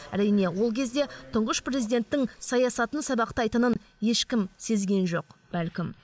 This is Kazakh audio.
әрине ол кезде тұңғыш президенттің саясатын сабақтайтынын ешкім сезген жоқ бәлкім